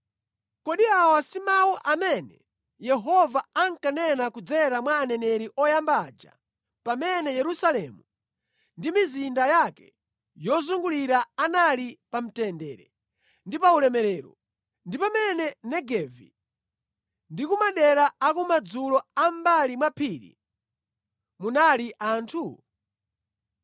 Kodi awa si mawu amene Yehova ankanena kudzera mwa aneneri oyamba aja pamene Yerusalemu ndi mizinda yake yozungulira anali pa mtendere ndi pa ulemerero, ndi pamene Negevi ndi ku madera akumadzulo a mʼmbali mwa phiri munali anthu?’ ”